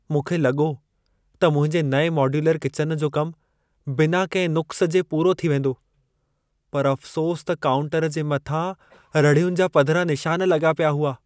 मूंखे लॻो त मुंहिंजे नएं मॉड्यूलर किचन जो कमु बिना कंहिं नुक़्स जे पूरो थी वेंदो, पर अफ़सोसु त काउंटर जे मथां रहिड़ियुनि जा पधिरा निशान लॻा पिया हुआ।